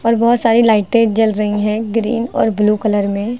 और बहोत सारी लाइटें जल रही है ग्रीन और ब्लू कलर में।